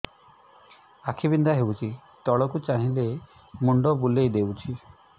ଆଖି ବିନ୍ଧା ହଉଚି ତଳକୁ ଚାହିଁଲେ ମୁଣ୍ଡ ବୁଲେଇ ଦଉଛି